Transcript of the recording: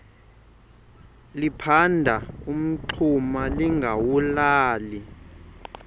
liphanda umngxuma lingawulali